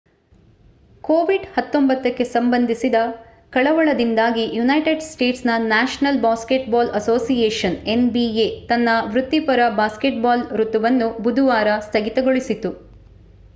covid-19 ಗೆ ಸಂಬಂಧಿಸಿದ ಕಳವಳದಿಂದಾಗಿ ಯುನೈಟೆಡ್ ಸ್ಟೇಟ್ಸ್ನ ನ್ಯಾಷನಲ್ ಬಾಸ್ಕೆಟ್‌ಬಾಲ್ ಅಸೋಸಿಯೇಷನ್ nba ತನ್ನ ವೃತ್ತಿಪರ ಬ್ಯಾಸ್ಕೆಟ್‌ಬಾಲ್ ಋತುವನ್ನು ಬುಧವಾರ ಸ್ಥಗಿತಗೊಳಿಸಿತು